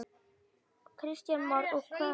Kristján Már: Og hvað veldur?